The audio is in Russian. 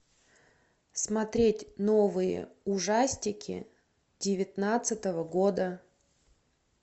смотреть новые ужастики девятнадцатого года